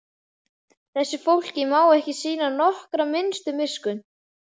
Þessu fólki má ekki sýna nokkra minnstu miskunn!